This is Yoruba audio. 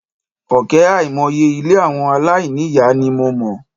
Òkè àìmọye ilé àwọn aláìní ìyá ni mo mọ̀.